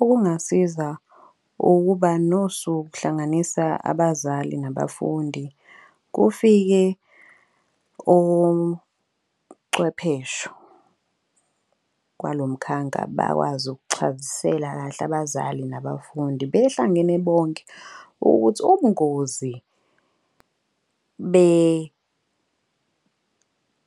Okungasiza ukuba uhlanganisa abazali nabafundi kufike ocwephesho kwalo mkhanka bakwazi ukuchazisela kahle abazali nabafundi behlangene bonke. Ukuthi ubungozi